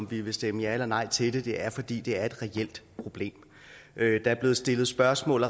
vi vil stemme ja eller nej til det det er fordi det er et reelt problem der er blevet stillet spørgsmål